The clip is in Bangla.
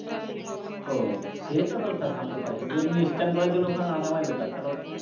ও সেটা তো sir থামতেই পারে কিন্তু এমনি stand করার জন্য ওখানে না থামাই better কারণ,